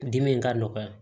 Dimi in ka nɔgɔya